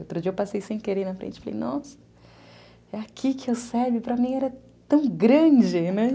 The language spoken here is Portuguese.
Outro dia eu passei sem querer na frente e falei, nossa, é aqui que o se be? para mim era tão grande, né?